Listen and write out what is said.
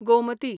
Gomti